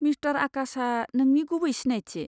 Mister आकाशआ नोंनि गुबै सिनायथि।